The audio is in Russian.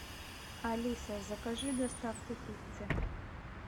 алиса закажи доставку пиццы